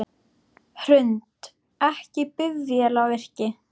Hrund: Ekki bifvélavirki?